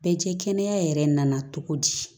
Bɛɛ cɛ kɛnɛya yɛrɛ nana cogo di